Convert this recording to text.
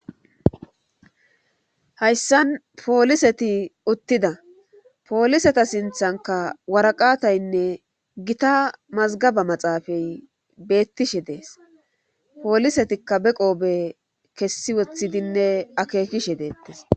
Hayssan pooliseti uttida pooliseta sinthanka waraqataynne gita mazgaba maxaafay beettishe dees poolisetikka be qoobe kessi woththidinne akeekishe deettes.